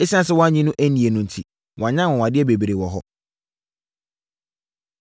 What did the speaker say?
Esiane sɛ wɔannye no annie no enti, wanyɛ anwanwadeɛ bebree wɔ hɔ.